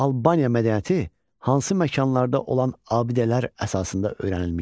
Albaniya mədəniyyəti hansı məkanlarda olan abidələr əsasında öyrənilmişdir?